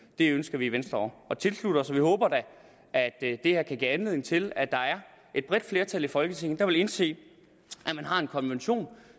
det ønsker vi i venstre at tilslutte os og vi håber da at det her kan give anledning til at der er et bredt flertal i folketinget der vil indse at man har en konvention